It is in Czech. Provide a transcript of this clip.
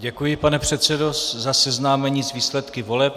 Děkuji, pane předsedo, za seznámení s výsledky voleb.